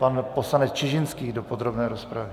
Pan poslanec Čižinský do podrobné rozpravy.